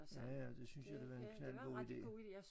Ja ja det synes jeg det var en knaldgod ide